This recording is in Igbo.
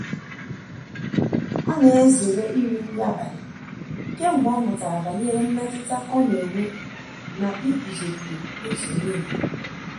Ọ na-ezere iri nri abalị kemgbe ọ mụtara banyere mmetụta ọ na-enwe na ịguzogide insulin.